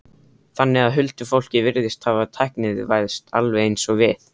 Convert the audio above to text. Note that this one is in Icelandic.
Þannig að huldufólkið virðist hafa tæknivæðst, alveg eins og við?